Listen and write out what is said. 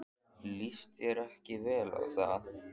Líst þér ekki vel á það?